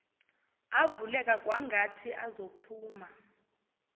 avuleka kwangathi azophuma